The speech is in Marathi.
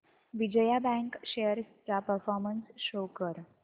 विजया बँक शेअर्स चा परफॉर्मन्स शो कर